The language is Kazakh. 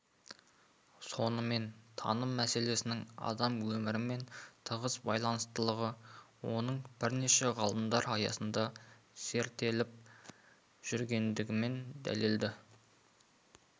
сонымен таным мәселесінің адам өмірімен тығыз байланыстылығы оның бірнеше ғылымдар аясында зерттеліп жүргендігімен дәлелді